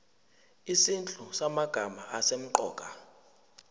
izinhlu zamagama asemqoka